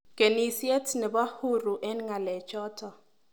Kenisiet nebo huru eng ngalechoto.